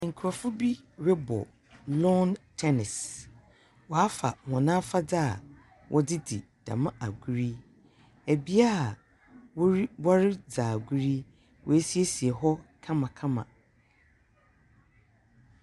Nkurɔfo bi robɔ long tennis, wɔafa afadze a wɔdze dzi dɛm agor yi. Bea a wori woridzi agor yi, wosiesie hɔ kamakama.